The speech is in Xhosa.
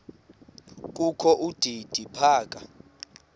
kokho udidi phaka